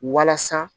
Walasa